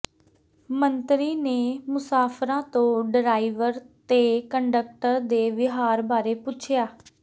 ਮੰਤਰੀ ਨੇ ਮੁਸਾਫਰਾਂ ਤੋਂ ਡਰਾਈਵਰ ਤੇ ਕੰਡਕਟਰ ਦੇ ਵਿਹਾਰ ਬਾਰੇ ਪੁੱਛਿਆ